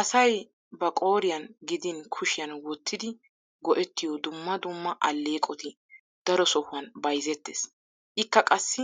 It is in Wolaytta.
Asay ba qooriyan gidin kushiyan wottidi go'ettiyo dumma dumma alleeqoti daro sohuwan bayzettees. Ikka qassi